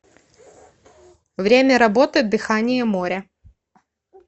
время работы дыхание моря